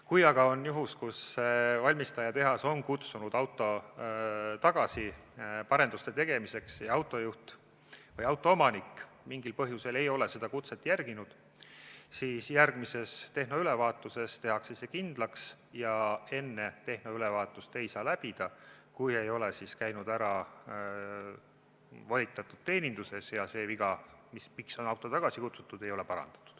Kui aga valmistajatehas on kutsunud auto tagasi paranduste tegemiseks ja autoomanik mingil põhjusel ei ole seda kutset järginud, siis järgmisel tehnoülevaatusel tehakse see kindlaks ja enne tehnoülevaatuselt läbi ei saa, kui ei ole käidud ära volitatud teeninduses ja see viga, miks on auto tagasi kutsutud, ei ole parandatud.